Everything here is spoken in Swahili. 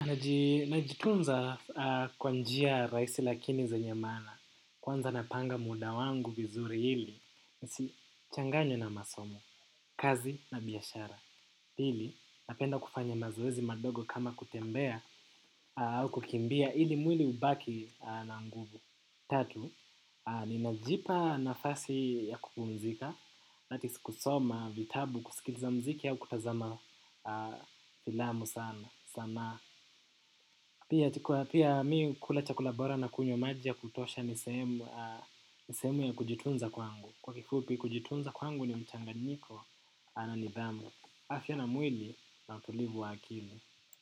Najitunza kwa njia rahisi lakini zenye maana. Kwanza napanga muda wangu vizuri ili nisichanganye na masomo, kazi na biashara. Pili, napenda kufanya mazoezi madogo kama kutembea au kukimbia ili mwili ubaki na nguvu. Tatu, ninajipa nafasi ya kupumzika, that is kusoma vitabu kusikiliza mziki au kutazama filamu sana. Pia mimi hukula chakula bora na kunywa maji ya kutosha ni sehemu ni sehemu ya kujitunza kwangu. Kwa kifupi kujitunza kwangu ni mchanganyiko wa nidhamu, afya na mwili na utulivu wa akili.